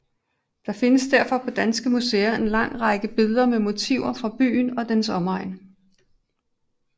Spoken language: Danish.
Der findes derfor på danske museer en lang række billeder med motiver fra byen og dens omegn